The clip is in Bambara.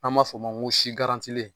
An b'a fɔ o ma ko si garantilen